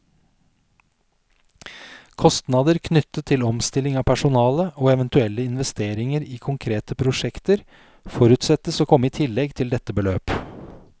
Kostnader knyttet til omstilling av personale, og eventuelle investeringer i konkrete prosjekter, forutsettes å komme i tillegg til dette beløp.